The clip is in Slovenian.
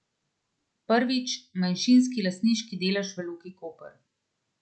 Prvič, manjšinski lastniški delež v Luki Koper.